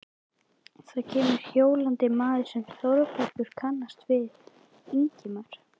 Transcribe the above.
Þá kemur hjólandi maður sem Þórbergur kannast við, Ingimar